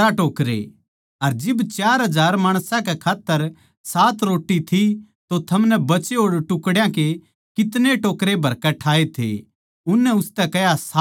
अर जिब चार हजार माणसां कै खात्तर सात रोट्टी थी तो थमनै बचे होड़ टुकड्या के कितने टोकरे भरकै ठाए थे उननै उसतै कह्या सात टोकरे